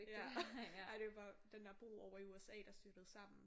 Ja ej det var den der bro ovre i USA der styrtede sammen